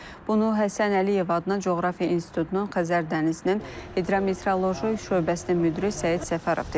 Bunu Həsən Əliyev adına Coğrafiya İnstitutunun Xəzər dənizinin hidrometeoroloji şöbəsinin müdiri Səid Səfərov deyib.